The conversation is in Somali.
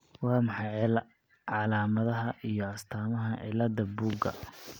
Waa maxay calaamadaha iyo astaamaha cillada Buuga?